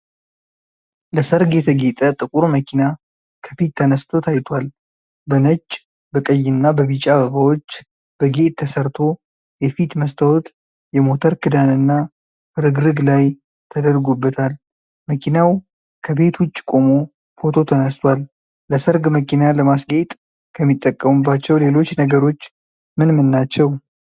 ለሠርግ የተጌጠ ጥቁር መኪና ከፊት ተነስቶ ታይቷል። በነጭ፣ በቀይና በቢጫ አበባዎች በጌጥ ተሰርቶ የፊት መስታወት፣ የሞተር ክዳንና ፍርግርግ ላይ ተደርጎበታል። መኪናው ከቤት ውጭ ቆሞ ፎቶ ተነስቷል። ለሠርግ መኪና ለማስጌጥ ከሚጠቀሙባቸው ሌሎች ነገሮች ምን ምን ናቸው?